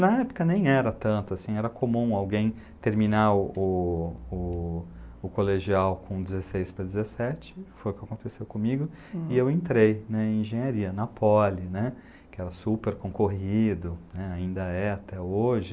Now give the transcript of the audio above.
Na época nem era tanto assim, era comum alguém terminar o, o, o colegial com dezesseis para dezessete, foi o que aconteceu comigo, e eu entrei na engenharia, na poli, que era super concorrido, ainda é até hoje.